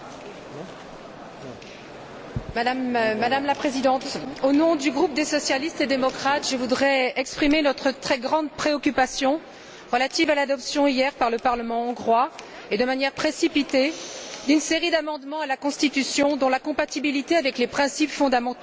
Madame la Présidente, au nom du groupe des socialistes et démocrates, je voudrais exprimer notre très grande préoccupation quant à l'adoption hier par le parlement hongrois, et ce de manière précipitée, d'une série d'amendements à la Constitution dont la compatibilité avec les principes fondamentaux et le droit de l'Union européenne n'est pas assurée.